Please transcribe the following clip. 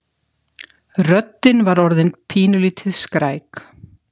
Röddin var orðin pínulítið skræk.